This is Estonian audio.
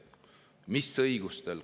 Mis õigusega?